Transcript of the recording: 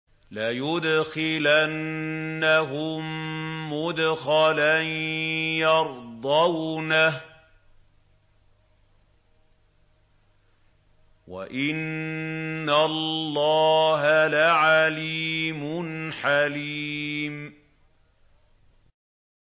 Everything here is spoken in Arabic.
لَيُدْخِلَنَّهُم مُّدْخَلًا يَرْضَوْنَهُ ۗ وَإِنَّ اللَّهَ لَعَلِيمٌ حَلِيمٌ